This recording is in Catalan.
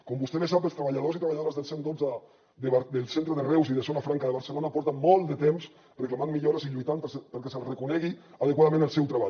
com vostè bé sap els treballadors i treballadores del cent i dotze del centre de reus i de zona franca de barcelona fa molt de temps que reclamen millores i lluitant perquè els reconeguin adequadament la seva feina